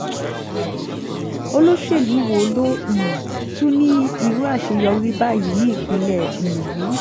olóṣèlú wo ló um tún ní irú àṣeyọrí báyìí ní ìpínlẹ̀ um yìí